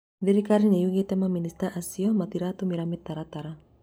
thirikari nĩyugĩte maminista acio matirarũmĩrĩra mĩtaratara